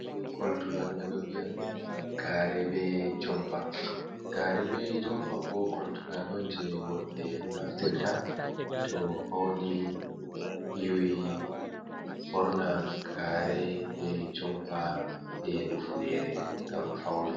Ɗum koltungal ɓeɗo vi'a ɗum gare be jompa, gare be jomap Bo ɗum koltugal on je worɓe naftirta to fauni yiwi, ɓorna gare be jompa be ufnere ngam fauna.